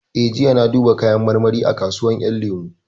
Eh, jiya na duba kayan marmari a kasuwar ƴan lemu